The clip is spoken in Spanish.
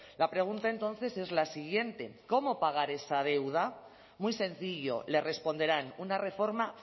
la pregunta entonces es la siguiente cómo pagar esa deuda muy sencillo le responderán una reforma